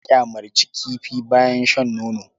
An ƙyamarcin kifi bayan shan nono.